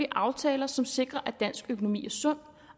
aftaler som sikrer at dansk økonomi er sund